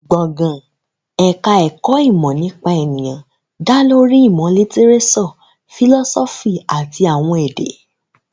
Gbọ̀ngàn ẹ̀ka ẹ̀kọ́ ìmọ̀ nípa ènìyàn dá lórí ìmọ̀ lítíréṣọ̀, fìlọ́sọ́fì àti àwọn èdè